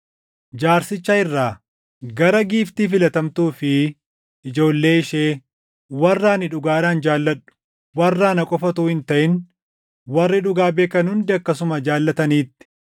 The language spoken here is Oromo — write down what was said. Jaarsicha irraa, Gara giiftii filatamtuu fi ijoollee ishee, warra ani dhugaadhaan jaalladhu, warra ana qofa utuu hin taʼin warri dhugaa beekan hundi akkasuma jaallataniitti;